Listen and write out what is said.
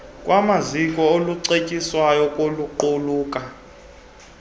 lwamaziko olucetyiswayo lokuqulunqa